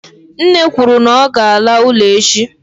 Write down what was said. nne kwuru na ọ ga-ala ụlọ echi.